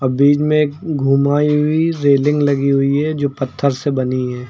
अ बीच में घुमाई हुई रेलिंग लगी हुई है जो पत्थर से बनी है।